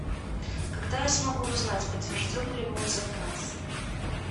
когда я смогу узнать подтвержден ли мой заказ